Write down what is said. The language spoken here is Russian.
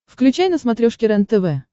включай на смотрешке рентв